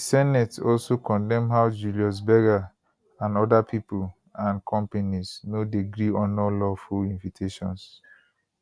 di senate also condemn how julius berger and oda pipo and companies no dey gree honour lawful invitations